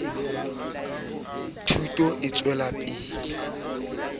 ba le ho ritsa ho